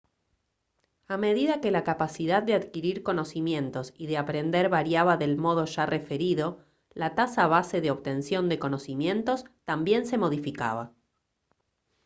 a medida que la capacidad de adquirir conocimientos y de aprender variaba del modo ya referido la tasa base de obtención de conocimientos también se modificaba